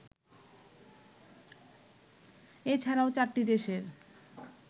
এছাড়াও চারটি দেশের